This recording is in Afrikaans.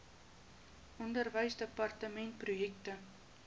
onderwysdepartementprojekte